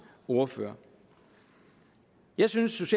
ordfører jeg synes